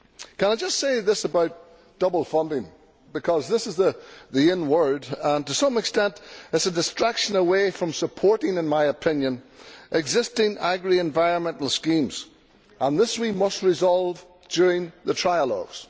Can I just say about double funding because this is the in word that it is to some extent a distraction away from supporting, in my opinion, existing agri environmental schemes, and this we must resolve during the trilogues.